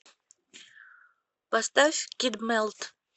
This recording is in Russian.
поставь кид мелт